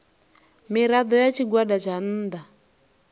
mirado ya tshigwada tsha nnda